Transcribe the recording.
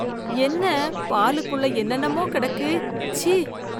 என்ன, பாலுக்குள்ள என்னென்னமோ கிடக்கு, ச்சீ